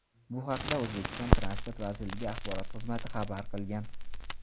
Bu haqda O‘zbekiston transport vazirligi axborot xizmati xabar qilgan .